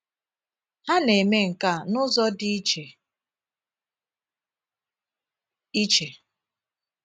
Ha na - eme nke a n’ụzọ dị iche iche.